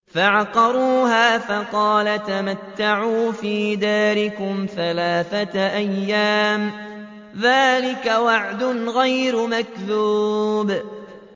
فَعَقَرُوهَا فَقَالَ تَمَتَّعُوا فِي دَارِكُمْ ثَلَاثَةَ أَيَّامٍ ۖ ذَٰلِكَ وَعْدٌ غَيْرُ مَكْذُوبٍ